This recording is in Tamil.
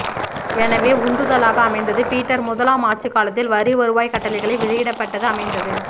எனவே உந்துதலாக அமைந்தது பீட்டர் முதலாம் ஆட்சி காலத்தில் வரி வருவாய் கட்டளைகளை வெளியிடப்பட்டது அமைந்தது